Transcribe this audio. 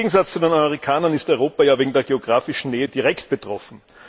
Im Gegensatz zu den Amerikanern ist Europa ja wegen der geografischen Nähe direkt betroffen.